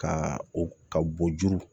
Ka o ka bo juru